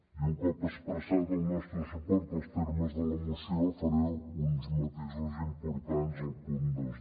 i un cop expressat el nostre suport als termes de la moció faré uns matisos importants al punt dos